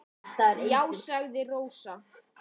Já, sagði Rósa.